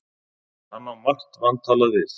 Hann á margt vantalað við